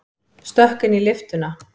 Stökk inn í lyftuna.